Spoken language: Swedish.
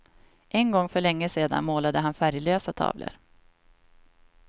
En gång för länge sedan målade han färglösa tavlor.